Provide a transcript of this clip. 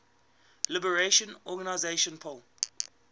liberation organization plo